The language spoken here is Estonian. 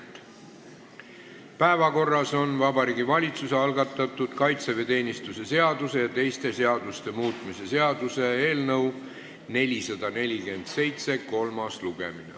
Tänases päevakorras on Vabariigi Valitsuse algatatud kaitseväeteenistuse seaduse ja teiste seaduste muutmise seaduse eelnõu 447 kolmas lugemine.